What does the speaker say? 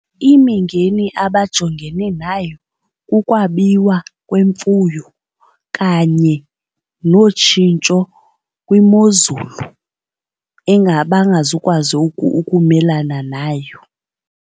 Imingeni abajongene nayo kukwabiwa kwemfuyo kanye notshintsho kwimozulu engabangazukwazi ukumelana nayo.